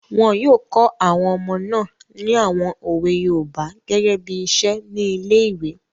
Wọn yóò kọ àwọn ọmọ náà ní àwon òwe yoòbá gẹ́gẹ́ bí iṣẹ́ ní ilé-ìwé